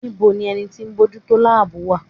Níbo ni ẹni tí bójú tó láàbù wà?